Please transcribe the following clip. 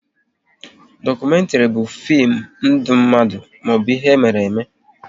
Dokumentri bụ fim ndụ mmadụ maọbụ ihe mere eme